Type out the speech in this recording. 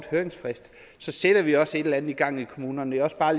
høringsfrist så sætter vi også et eller andet i gang i kommunerne det er også bare